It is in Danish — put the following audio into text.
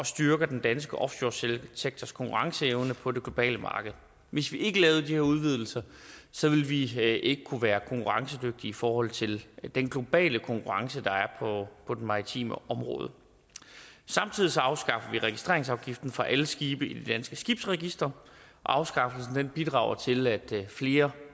styrker den danske offshoresektors konkurrenceevne på det globale marked hvis vi ikke lavede de her udvidelser ville vi ikke kunne være konkurrencedygtige i forhold til den globale konkurrence der er på det maritime område samtidig afskaffer vi registreringsafgiften for alle skibe i det danske skibsregister afskaffelsen bidrager til at flere